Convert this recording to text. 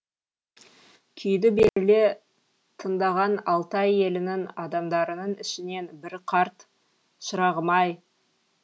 күйді беріле тыңдаған алтай елінің адамдарының ішінен бір қарт шырағым ай